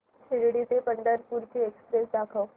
शिर्डी ते पंढरपूर ची एक्स्प्रेस दाखव